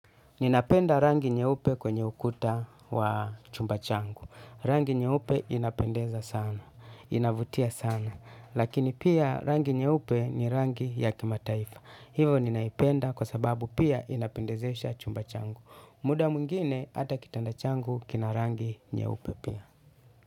Ninapenda rangi nyeupe kwenye ukuta wa chumba changu. Rangi nyeupe inapendeza sana. Inavutia sana. Lakini pia rangi nyeupe ni rangi ya kimataifa. Hivo ninaipenda kwa sababu pia inapendezesha chumba changu. Muda mwingine ata kitanda changu kina rangi nyeupe pia.